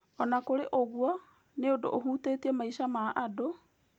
Ona kũrĩ ũguo, nĩ ũndũ ihutĩtie maica ma andũ,